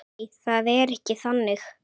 Nei, það er ekki þannig.